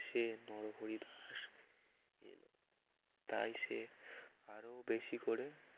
সে নরহরি দাস তাই সে আরো বেশি করে